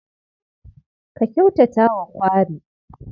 Ka kyautata wa kwari.